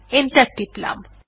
enter টিপলাম